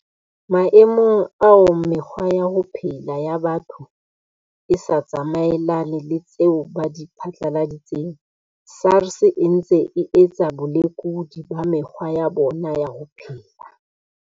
Maemong ao mekgwa ya ho phela ya batho e sa tsamaelane le tseo ba di phatlaladitseng, SARS e ntse e etsa bolekudi ba mekgwa ya bona ya ho phela.